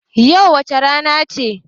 Yau wace rana ce?